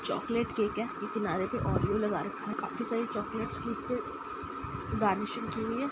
Chocolate cake है। इसके किनारे पर औरीओ लगा रखा है। काफी सारी चॉकलेटस इसपे गार्निशिंग की हुई है।